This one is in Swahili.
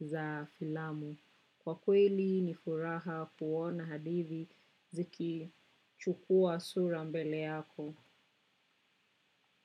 za filamu. Kwa kweli nifuraha kuona hadithi ziki chukua sura mbele yako.